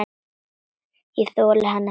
Ég þoldi hann ekki.